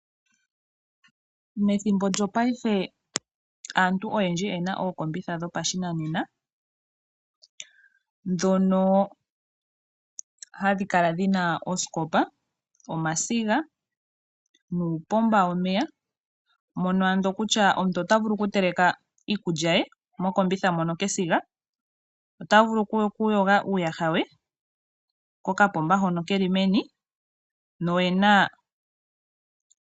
Methimbo lyopaife aantu oyendji oye na ookombitha dhopashinanena, ndhono hadhi kala dhina ooskopa, omasiga nuupomba womeya mono ando kutya omuntu tavulu okutela iikulya ye mokombitha mono kesiga , ota vulu kuyoga uuyaha we kokapomba hono ke li meni .